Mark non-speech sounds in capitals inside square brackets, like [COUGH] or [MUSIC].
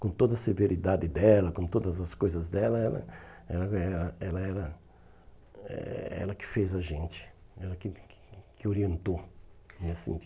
Com toda a severidade dela, com todas as coisas dela, ela ela eh ela era eh ela que fez a gente, ela que que orientou. [UNINTELLIGIBLE]